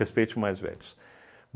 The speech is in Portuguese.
Respeite o mais velhos.